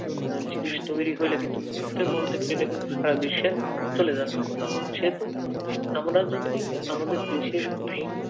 জিনিস তৈরি হলে মুহূর্তের মধ্যে কিন্তু সেটা সারা বিশ্বে চলে যাচ্ছে সেহেতু আমরা যদি আমাদের দেশের ভিন্ন